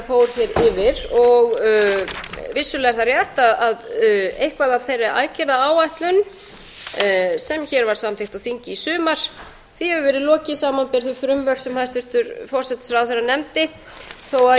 fór yfir og vissulega er það rétt að einhverju af þeirri aðgerðaáætlun sem var samþykkt á þingi í sumar hefur verið lokið samanber þau frumvörp sem hæstvirtur forsætisráðherra nefndi þó